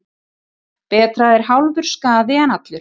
Betra er hálfur skaði en allur.